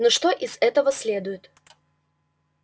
ну что из этого следует